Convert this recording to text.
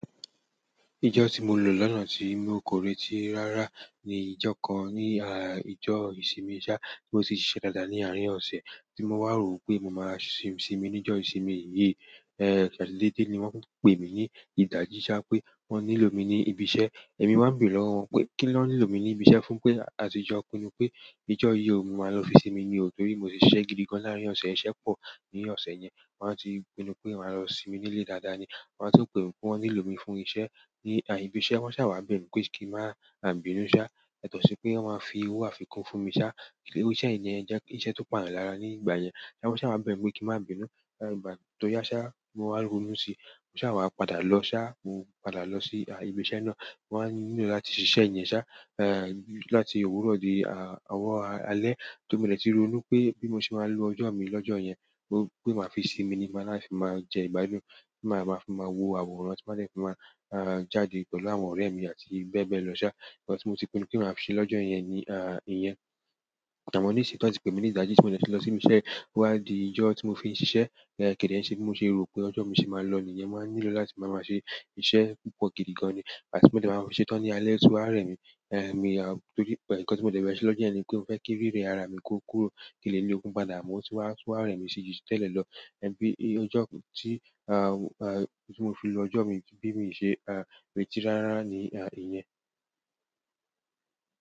Ìjọ tí mo lọ lánàá tí mi ò kóretí rárá ni ìjọ kan ni ah ìjọ ìsinmi ṣá, tí mo ti ṣẹlẹ̀ ní àárín ọ̀sẹ̀. Tí mo wá rò wípé mo máa ṣe sinmi níjo ìsinmi yìí, ẹ́ẹ̀, ṣa dé dedé ni wọ́n pè mí ní ìdají ṣá pé wọ́n nílò mi ní ibi iṣẹ́. Èmi wá bèrè lọ́wọ́ wọn pé kí wọ́n nílò mi ní ibi iṣẹ́ fún pé, àtìjọ pinnu pé ìjọ yìí ò mo máa lọ fi sinmi ni o, torí mo tì ṣiṣẹ́ gidi gan láàárín ọ̀sẹ̀, iṣẹ́ pọ̀ ní ọ̀sẹ̀ yẹn. Wọn ti pinnu pé màá lọ sinmi nílé dáadáa ni. Wa tun pè mi pé wọ́n nílò mi fún iṣẹ́ ní ibi iṣẹ́. Wọ́n ṣà wá bẹ̀mi pé kí n má sà bínu ṣá, yàtọ̀ sí pé wọ́n máa fi owó àfikún fún mi ṣá. Iru iṣẹ́ yìí ni ẹ́, jẹ ki iṣẹ́ tó pàyán lára ní ìgbà yẹn. Ṣá wọ́n ṣà wá bẹ̀mi pé kí n má bínu. Ẹ̀ẹ̀, ìgbà tó yá ṣá, mo wá ronú sí i. Wọ́n ṣà wá padà lọ ṣá, mo padà lọ sí ibi iṣẹ́ náà. Wọ́n á nílò láti ṣiṣẹ́ yẹn ṣá, ẹ̀ẹ̀, láti òwúrọ̀ di ọwọ̀ alẹ́. Tóri modẹ ti ronú pé bí mo ṣe máa lo ọjọ́ mi lọ́jọ́ yẹn, pé ma fi sinmi ni, màá fi má jẹ ìgbádùn, kí màá fi má wo àwòrán, tí màá fi má jáde pẹ̀lú àwọn ọ̀rẹ́ mi àti bẹ́ẹ̀ bẹ́ẹ̀ lọ ṣá. Nkan tí mo ti pinnu pé màá fí ṣe lọ́jọ́ yẹn ni à ìyẹn. Àmọ́ ní ìsìn tó ti pè mí ní ìdají tí, mo dẹ ti lọ sibi iṣẹ́. Ó wá di ìjọ tí mo fi ṣiṣẹ́, ẹ̀ẹ̀, kẹ̀dẹ́ ń ṣe bí mo ṣe rò pé ọjọ́ mi ṣe máa lọ nìyẹn. Wọ́n á nílò láti máa máa ṣe iṣẹ́ púpọ̀ gidi gan ni. Àti tí mo bá máa ṣe tán ní alẹ́, oti wa rẹ̀ mi. Ẹ̀ẹ̀, èmi a, torí pẹ̀, nǹkan ti mo dẹ̀ fẹ́ẹ́ ṣe lọ́jọ́ yẹn ni pé mo o fẹ́ kí were ara mi kó kúrò. Kín n lè lé ní okun padà, mò n sì wá o tún wáá rẹ̀ mi sí i ju ti tẹ́lẹ̀ lọ. Ìyẹn ni pé i ìjọ tí, à à, tí mo fi lọ ọjọ́ mi, ki bí pe mi ṣe à retí rá rá ni a ìyẹn.